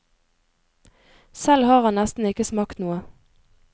Selv har han nesten ikke smakt noe.